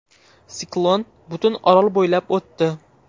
Siklon butun orol bo‘ylab o‘tdi.